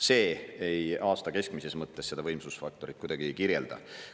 See aasta keskmises mõttes seda võimsusfaktorit kuidagi ei kirjelda.